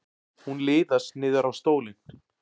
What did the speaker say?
Hún liðast niður á stólinn.